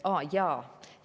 Aa, jaa.